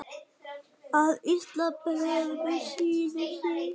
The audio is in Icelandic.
að Ísland bregður sínum sið